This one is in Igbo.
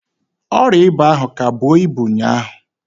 Ọrịa ịba ahụ ka bụọ ibu ụnyaahụ.